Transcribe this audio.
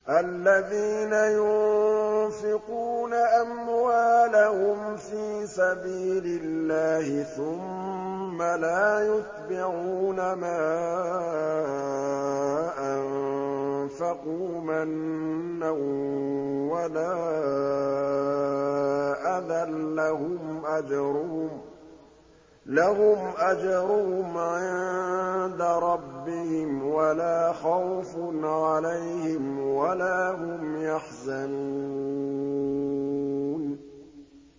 الَّذِينَ يُنفِقُونَ أَمْوَالَهُمْ فِي سَبِيلِ اللَّهِ ثُمَّ لَا يُتْبِعُونَ مَا أَنفَقُوا مَنًّا وَلَا أَذًى ۙ لَّهُمْ أَجْرُهُمْ عِندَ رَبِّهِمْ وَلَا خَوْفٌ عَلَيْهِمْ وَلَا هُمْ يَحْزَنُونَ